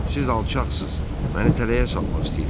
Siz alçaqsınız, məni tələyə salmaq istəyirsiz.